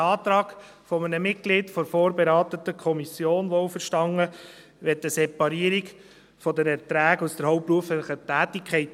Der Antrag eines Mitglieds der vorberatenden Kommission, wohlverstanden, möchte eine Separierung der Erträge aus der hauptberuflichen Tätigkeit.